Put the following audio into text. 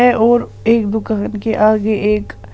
है और एक दुकान के आगे एक--